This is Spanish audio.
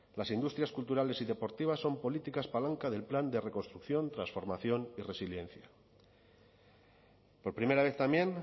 las industrias culturales y deportivas son políticas palanca del plan de reconstrucción transformación y resiliencia por primera vez también